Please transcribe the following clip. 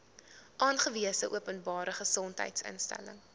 aangewese openbare gesondheidsinstelling